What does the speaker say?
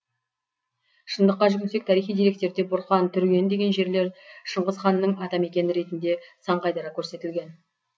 шындыққа жүгінсек тарихи деректерде бұрқан түрген деген жерлер шыңғыс ханның атамекені ретінде сан қайтара көрсетілген